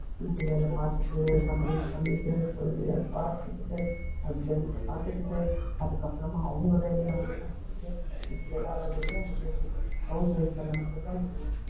வீட்டு வேலை பாத்துட்டு, சமையல் பண்ணிட்டு, குழந்தைங்களை பாத்துக்கிட்டு husband அ பாத்துக்கிட்டு அதுக்கப்பறமா அவங்க வேலையை அவங்க பாத்துக்கிட்டு, எல்லாராலையுமே முடியாது house wife ஆல மட்டும் தான் முடியும்